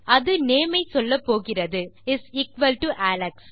அது நேம் ஐ சொல்லப்போகிறது அலெக்ஸ்